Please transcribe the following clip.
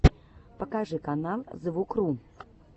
покажи канал звукру